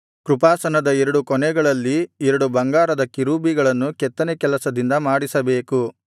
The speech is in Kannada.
ಕೃಪಾಸನದ ಎರಡು ಕೊನೆಗಳಲ್ಲಿ ಎರಡು ಬಂಗಾರದ ಕೆರೂಬಿಗಳನ್ನು ಕೆತ್ತನೆ ಕೆಲಸದಿಂದ ಮಾಡಿಸಬೇಕು